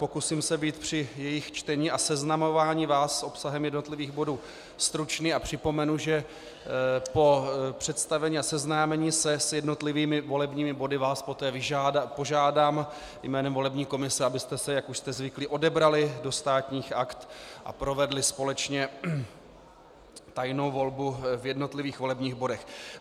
Pokusím se být při jejích čtení a seznamování vás s obsahem jednotlivých bodů stručný a připomenu, že po představení a seznámení se s jednotlivými volebními body vás poté požádám jménem volební komise, abyste se, jak už jste zvyklí, odebrali do Státních akt a provedli společně tajnou volbu v jednotlivých volebních bodech.